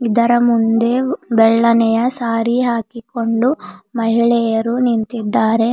ಇದರ ಮುಂದೆ ಬೆಳ್ಳನೆಯ ಸಾರಿ ಹಾಕಿಕೊಂಡು ಮಹಿಳೆಯರು ನಿಂತಿದ್ದಾರೆ.